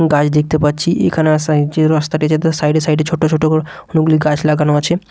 গাড়ি দেখতে পাচ্ছি এখানে যে রাস্তাটি যেতে সাইড -এ সাইড -এ ছোটো ছোটো করে অনেকগুলি গাছ লাগানো আছে।